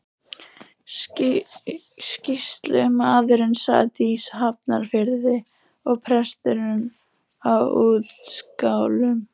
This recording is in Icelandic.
Sýslumaðurinn sat í Hafnarfirði og presturinn á Útskálum.